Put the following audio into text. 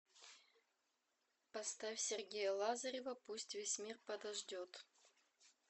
поставь сергея лазарева пусть весь мир подождет